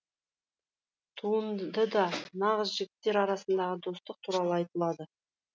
туындыда нағыз жігіттер арасындағы достық туралы айтылады